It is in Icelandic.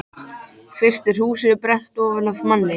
Fyrst er húsið brennt ofan af manni.